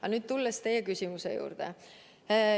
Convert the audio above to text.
Aga tulen nüüd teie küsimuse juurde.